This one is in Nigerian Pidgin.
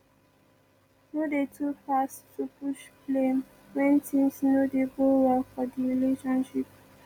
no de too fast to push blame when things no dey go well for di relationship